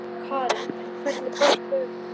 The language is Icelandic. Karen: En hvernig brást lögreglan við?